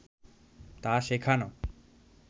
তা শেখানো